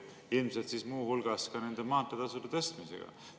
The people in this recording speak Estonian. Ilmselt tuleb seda siis muu hulgas teha maanteetasude tõstmisega.